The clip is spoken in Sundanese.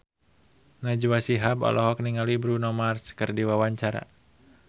Najwa Shihab olohok ningali Bruno Mars keur diwawancara